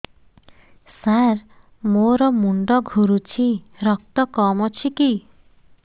ସାର ମୋର ମୁଣ୍ଡ ଘୁରୁଛି ରକ୍ତ କମ ଅଛି କି